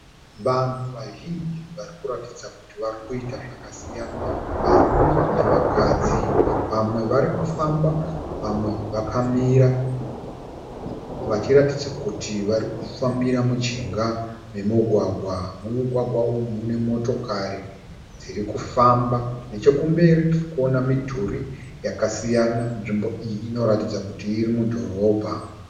Vanhu vazhinji varikuratidza kuti varikuita zvakasiyana, varume nevakadzi. Vamwe vari kufamba vamwe vakamira vachiratidza kuti varikufambira mujinga memugwagwa. Mumugwagwa umu mune motokari dzirikufamba. Nechekumberi tirikuona midhuri yakasiyana. Nzvimbo iyi inoratidza kuti iri mudhorobha.